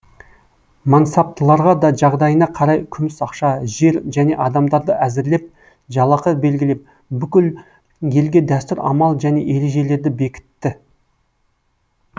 мансаптыларға да жағдайына қарай күміс ақша жер және адамдарды әзірлеп жалақы белгілеп бүкіл елге дәстүр амал және ережелерді бекітті